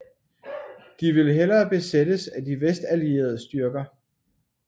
De ville hellere besættes af de vestallierede styrker